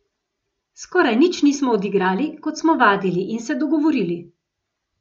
Skoraj nič nismo odigrali, kot smo vadili in se dogovorili.